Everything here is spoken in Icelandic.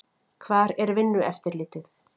Hvar er Vinnueftirlitið?